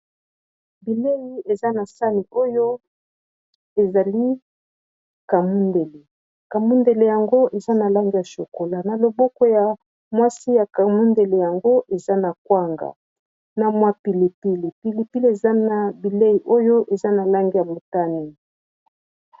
Bilei eza na sani oyo ezali kamundele, kamundele yango eza na langi ya chokola na loboko ya mwasi ya kamundele yango eza na kwanga na mwa pilipili. Pilipili eza na bilei oyo eza na langi ya motani.